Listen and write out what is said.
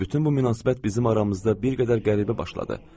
Düzdür, bütün bu münasibət bizim aramızda bir qədər qəribə başladı.